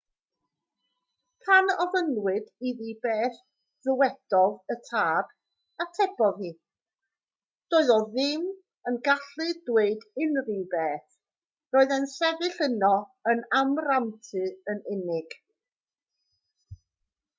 pan ofynnwyd iddi beth ddywedodd y tad atebodd hi doedd e ddim yn gallu dweud unrhyw beth - roedd e'n sefyll yno yn amrantu yn unig